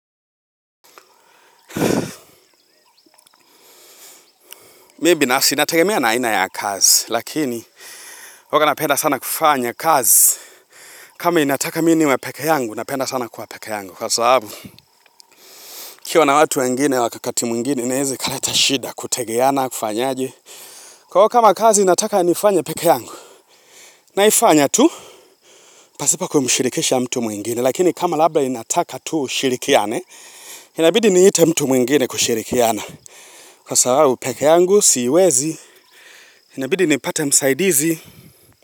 Mi binasi nategemea na aina ya kazi lakini waka napenda sana kufanya kazi kama inataka mi niwe peke yangu napenda sana kuwa peke yangu kwa sababu kiwa na watu wengine wakakati mwingine inezakaleta shida kutegeana kufanyaje kwa waka kama kazi inataka nifanye peke yangu naifanya tu pasipo kumshirikisha mtu mwingine lakini kama labda inataka tu shirikiane inabidi niite mtu mwingine kushirikiana kwa sababu peke yangu siwezi inabidi nipate msaidizi.